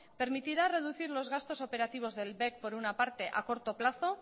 permitirá reducir los gastos operativos del bec por una parte a corto plazo